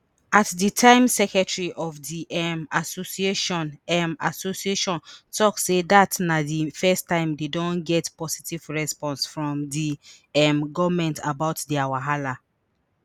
at di time secretary of di um association um association tok say dat na di first time dey don get positive response from di um goment about dia wahala